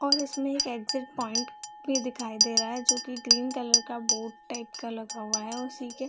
और उसमें एक एग्जिट पॉइंट भी दिखाई दे रहा है जो की ग्रीन कलर का बोर्ड टाइप का लगा हुआ है उसी के --